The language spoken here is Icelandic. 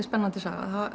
spennandi saga